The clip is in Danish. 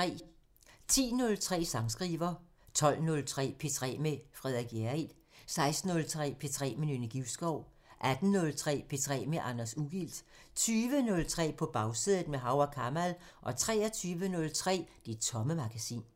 10:03: Sangskriver 12:03: P3 med Frederik Hjerrild 16:03: P3 med Nynne Givskov 18:03: P3 med Anders Ugilt 20:03: På Bagsædet – med Hav & Kamal 23:03: Det Tomme Magasin